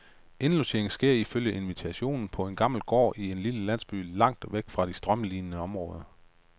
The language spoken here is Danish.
Indlogeringen sker ifølge invitationen på en gammel gård i en lille landsby langt væk fra de strømlinede områder.